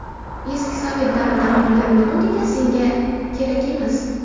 Eski sovet davridan qolgan metodika senga kerak emas.